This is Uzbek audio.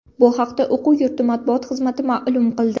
Bu haqda o‘quv yurti matbuot xizmati ma’lum qildi .